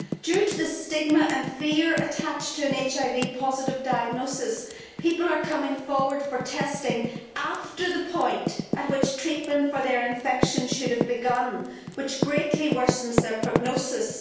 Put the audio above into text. Due to the stigma and fear attached to an HIV positive diagnosis, people are coming forward for testing after the point at which treatment for their infection should have begun, which greatly worsens their prognosis.